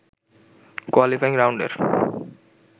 qualifying রাউন্ডের